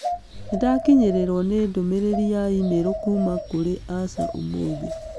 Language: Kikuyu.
Nĩndakinyĩirũo nĩ ndũmĩrĩri ya e-mail kuuma kũrĩ Ash ũmũthĩ